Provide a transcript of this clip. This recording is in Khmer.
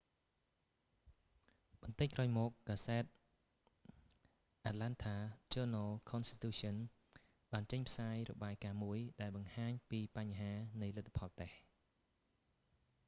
បន្តិចក្រោយមក កាសែត atlanta journal-constitution បានចេញផ្សាយរបាយការណ៍មួយ ដែលបង្ហាញពីបញ្ហានៃលទ្ធផលតេស្ត